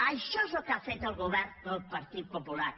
això és el que ha fet el govern del partit popular